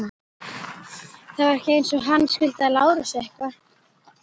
Það var ekki eins og hann skuldaði Lárusi eitthvað.